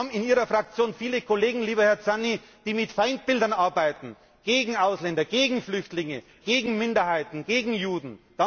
Wir haben in Ihrer Fraktion, Herr Zanni, viele Kollegen, die mit Feindbildern arbeiten, gegen Ausländer, gegen Flüchtlinge, gegen Minderheiten, gegen Juden.